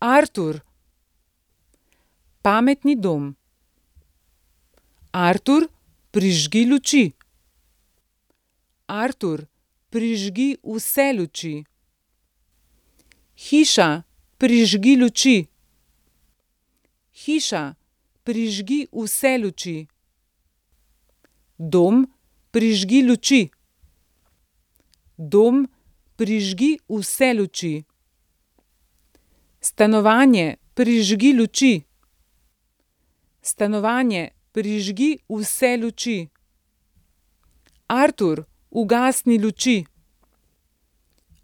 Artur. Pametni dom. Artur, prižgi luči. Artur, prižgi vse luči. Hiša, prižgi luči. Hiša, prižgi vse luči. Dom, prižgi luči. Dom, prižgi vse luči. Stanovanje, prižgi luči. Stanovanje, prižgi vse luči. Artur, ugasni luči.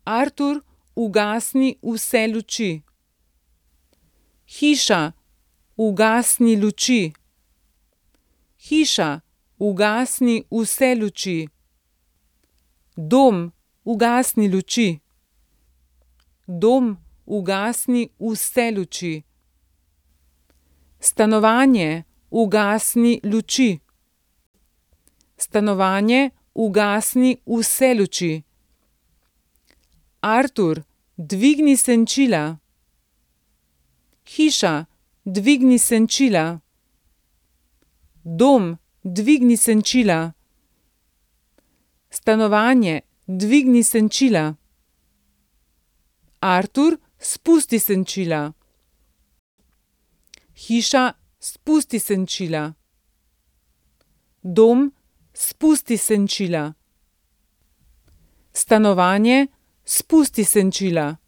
Artur, ugasni vse luči. Hiša, ugasni luči. Hiša, ugasni vse luči. Dom, ugasni luči. Dom, ugasni vse luči. Stanovanje, ugasni luči. Stanovanje, ugasni vse luči. Artur, dvigni senčila. Hiša, dvigni senčila. Dom, dvigni senčila. Stanovanje, dvigni senčila. Artur, spusti senčila. Hiša, spusti senčila. Dom, spusti senčila. Stanovanje, spusti senčila.